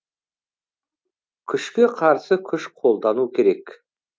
күшке қарсы күш қолдану керек